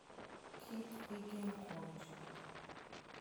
Kik igen kuom ji.